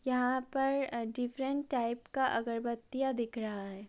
यहां पर अ डिफरेंट टाइप का अगरबत्तियां दिख रहा है।